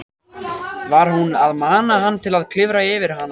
Var hún að mana hann til að klifra yfir hana?